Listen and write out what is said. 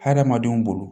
Hadamadenw bolo